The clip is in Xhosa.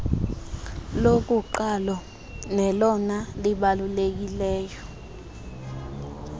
lokuqalo nelona libalulekileyo